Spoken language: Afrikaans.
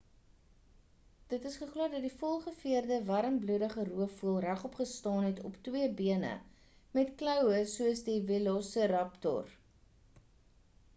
dit is geglo dat die volgeveerde warmbloedige roofvoël regop gestaan het op twee bene met kloue soos die velociraptor